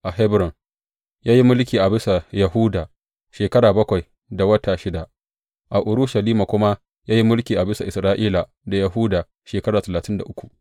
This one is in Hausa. A Hebron ya yi mulki a bisa Yahuda shekara bakwai da wata shida, a Urushalima kuma ya yi mulki a bisa Isra’ila da Yahuda shekara talatin da uku.